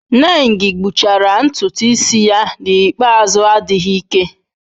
Nengi gbuchara ntutu isi ya n'ikpeazụ adịghị ike.